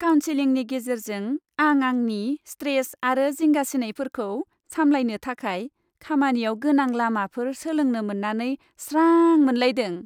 काउनसिलिंनि गेजेरजों आं आंनि स्ट्रेस आरो जिंगासिनायफोरखौ सामलायनो थाखाय खामानियाव गोनां लामाफोर सोलोंनो मोन्नानै स्रां मोनलायदों